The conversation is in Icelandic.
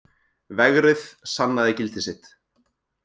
Vegrið sannaði gildi sitt